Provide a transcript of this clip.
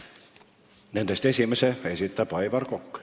Nendest esimese esitab Aivar Kokk.